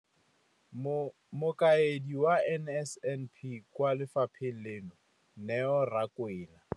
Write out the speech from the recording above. Mokaedi wa NSNP kwa lefapheng leno, Neo Rakwena.